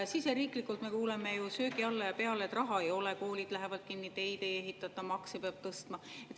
Siseriiklikult me kuuleme söögi alla ja peale, et raha ei ole, koolid lähevad kinni, teid ei ehitata, makse peab tõstma.